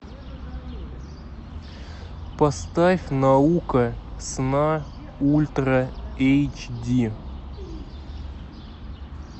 поставь наука сна ультра эйч ди